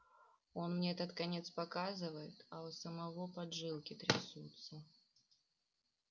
он мне этот конец показывает а у самого поджилки трясутся